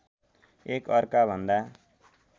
एक अर्का भन्दा